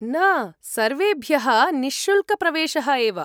न, सर्वेभ्यः निःशुल्कप्रवेशः एव।